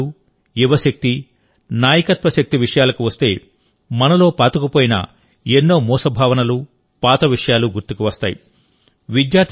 విద్యార్థులు యువశక్తి నాయకత్వ శక్తి విషయాలకు వస్తే మనలో పాతుకుపోయిన ఎన్నో మూస భావనలు పాత విషయాలు గుర్తుకువస్తాయి